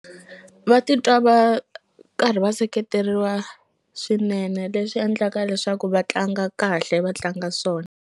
Va titwa va karhi va seketeriwa swinene leswi endlaka leswaku va tlanga kahle va tlanga swona.